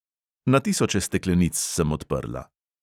Na tisoče steklenic sem odprla.